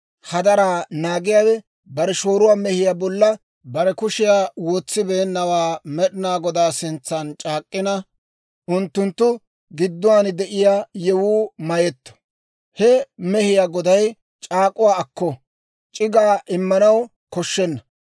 hadaraa naagiyaawe bare shooruwaa mehiyaa bolla bare kushiyaa wotsibeennawaa Med'inaa Godaa sintsan c'aak'k'ina, unttunttu giddon de'iyaa yewuu mayetto. He mehiyaa goday c'aak'uwaa akko; c'iggaa immanaw koshshenna.